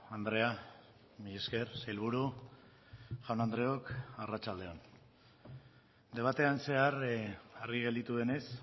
andrea mila esker sailburu jaun andreok arratsalde on debatean zehar argi gelditu denez